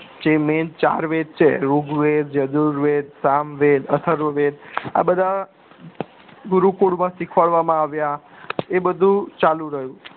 જે main ચાર વેધ છે ઋગ્વેદ અજુર્વેધ સામવેદ અથર્વવેદ આ બધા ગુરુકુળ માં સીખવાડવામાં આવ્યા એ બધું ચાલુ રહ્યું